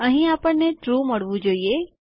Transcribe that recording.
અહીં આપણને ટ્રૂ મળવું જોઈએ